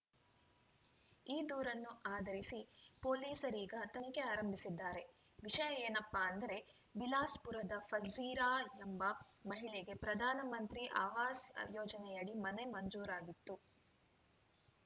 ಈ ದೂರನ್ನು ಆಧರಿಸಿ ಪೊಲೀಸರೀಗ ತನಿಖೆ ಆರಂಭಿಸಿದ್ದಾರೆ ವಿಷಯ ಏನಪ್ಪಾ ಅಂದರೆ ಬಿಲಾಸ್‌ಪುರದ ಫಲ್‌ಝರಿಯಾ ಎಂಬ ಮಹಿಳೆಗೆ ಪ್ರಧಾನ ಮಂತ್ರಿ ಆವಾಸ್‌ ಯೋಜನೆಯಡಿ ಮನೆ ಮಂಜೂರಾಗಿತ್ತು